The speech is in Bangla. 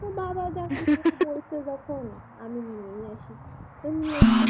তো বাবার যা ইচ্ছা হয়েছে তাই এনেছে